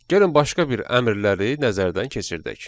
Gəlin başqa bir əmrləri nəzərdən keçirdək.